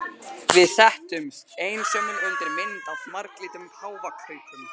Við settumst, einsömul undir mynd af marglitum páfagaukum.